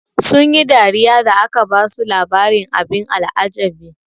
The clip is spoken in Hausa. Sun yi dariya da aka basu labarin abin al'ajabi.